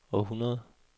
århundrede